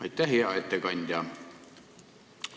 Aitäh, hea ettekandja!